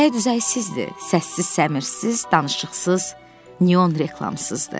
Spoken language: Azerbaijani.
Bəzək-düzəksizdir, səssiz-səmirsiz, danışıqsız, neon reklamsızdır.